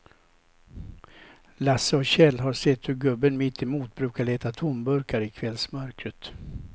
Lasse och Kjell har sett hur gubben mittemot brukar leta tomburkar i kvällsmörkret.